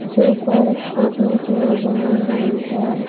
जो पार्क के बीच में बनी हुई है।